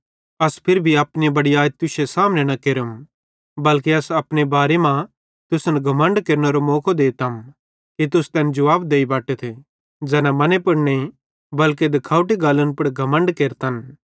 अस फिरी भी अपनी बड़याई तुश्शे सामने न केरम बल्के अस अपने बारे मां तुसन घमण्ड केरनेरो मौको देतम कि तुस तैन जुवाब देई बटतथ ज़ैना मने पुड़ नईं बल्के दिखवटी गल्लन पुड़ घमण्ड केरतन